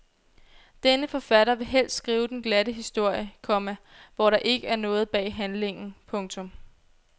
Denne forfatter vil helst skrive den glatte historie, komma hvor der ikke er noget bag handlingen. punktum